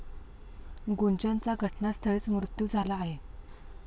गुंजनचा घटनास्थळीच मृत्यू झाला आहे.